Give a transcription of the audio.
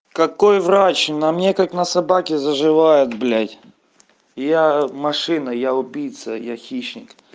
какой врач на мне как на собаке заживает блядь я машина я убийца я хищник